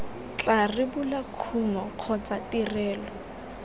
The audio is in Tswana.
tla rebola kumo kgotsa tirelo